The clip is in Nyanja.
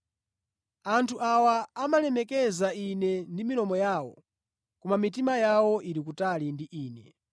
“ ‘Anthu awa amandilemekeza Ine ndi milomo yawo, koma mitima yawo ili kutali ndi Ine.